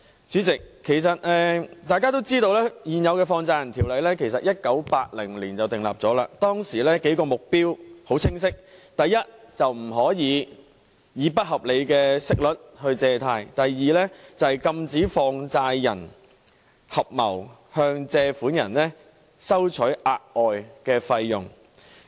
主席，大家都知道現行的《放債人條例》在1980年制定，當時的數個目標很清晰：第一，不能以不合理的息率借貸；第二，禁止放債人合謀向借款人收取額外費用。